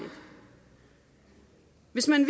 hvis man